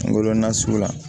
Kungolo nasuguya